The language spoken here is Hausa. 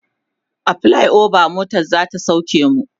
a flyover motan zata sauke mu